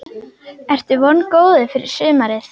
Ertu vongóður fyrir sumarið?